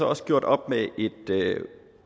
også gjort op med et